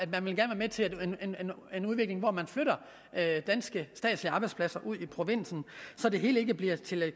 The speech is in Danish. vil være med til en udvikling hvor man flytter danske statslige arbejdspladser ud i provinsen så det hele ikke bliver til